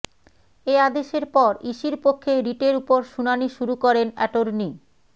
এ আদেশের পর ইসির পক্ষে রিটের ওপর শুনানি শুরু করেন অ্যাটর্নি